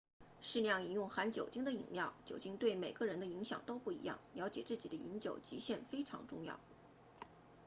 适量饮用含酒精的饮料酒精对每个人的影响都不一样了解自己的饮酒极限非常重要